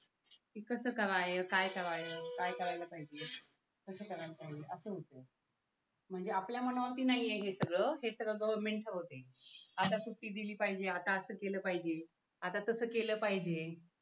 इकडचं कराये काय कराये काय करायला पाहिजे कसं करायला पाहिजे असं होतं म्हणजे आपल्या मनावरती नाहीये हे सगळं हे सगळं गव्हर्मेंटच होते आता सुट्टी दिली पाहिजे आता असं केलं पाहिजे आता तसं केलं पाहिजे